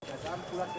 Qadan buraxın.